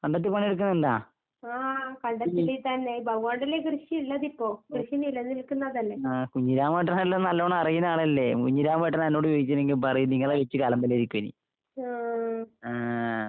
കണ്ടത്തി പണിയെടുക്കണ്ണ്ടാ? ഈ ഓ ആഹ് കുഞ്ഞിരാമേട്ടനെല്ലാം നല്ലോണം അറിയ്ണ ആളല്ലേ? കുഞ്ഞിരാമേട്ടനാ എന്നോട് ചോദിക്കണേങ്കി പറയും നിങ്ങളെ . ആഹ്.